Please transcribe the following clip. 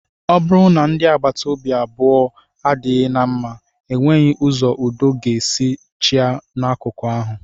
Ọ bụrụ na ndị agbata obi abụọ adịghị na mma, ọ nweghị ụzọ udo ga-esi chịa n'akụkụ ahụ